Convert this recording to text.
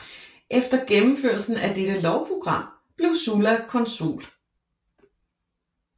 Efter gennemførelsen af dette lovprogram blev Sulla consul